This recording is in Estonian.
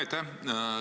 Aitäh!